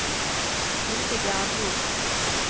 Hildegard Hjort